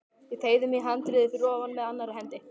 Ég teygði mig í handriðið fyrir ofan með annarri hendi.